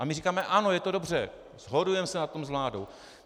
A my říkáme ano, je to dobře, shodujeme se na tom s vládou.